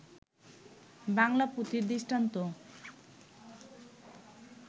বাংলা পুথির দৃষ্টান্ত